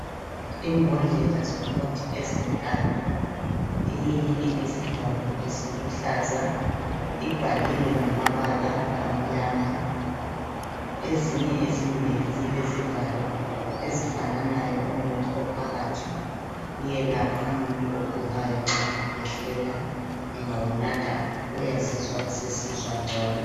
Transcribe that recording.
Imbodlela zomuthi ezintathu, eyinye elesivalo esiluhlaza ibhaliwe ngamabala amnyama. Ezinye ezimbili zilezivalo ezifananayo. Umuthi ophakathi uyelapha umuntu okugulayo nxa ekhwehlela, engawunatha uyazizwa sesizwa ngcono.